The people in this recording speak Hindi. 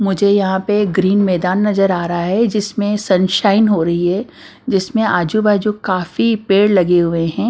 मुझे यहां पे ग्रीन मैदान नजर आ रहा है जिसमें सनशाइन हो रही है जिसमें आजू-बाजू काफी पेड़ लगे हुए हैं।